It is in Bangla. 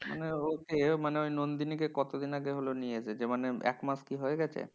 মানে ও এ মানে নন্দিনী কে কতদিন আগে নিয়ে এসেছে? মানে এক মাস কি হয়ে গেছে?